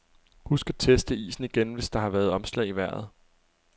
Husk at teste isen igen, hvis der har været omslag i vejret.